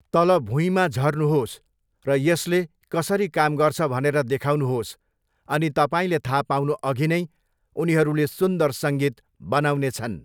तलभुइँमा झर्नुहोस् र यसले कसरी काम गर्छ भनेर देखाउनुहोस् अनि तपाईँले थाहा पाउनुअघि नै उनीहरूले सुन्दर सङ्गीत बनाउनेछन्।